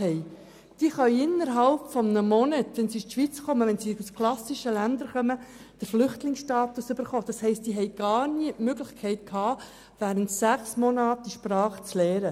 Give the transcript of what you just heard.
Sie können innerhalb eines Monats nach Ankunft in der Schweiz den Flüchtlingsstatus erhalten und haben dann gar nie die Möglichkeit, während sechs Monaten die Sprache zu lernen.